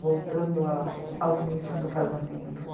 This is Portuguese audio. Voltando a... ao início do casamento.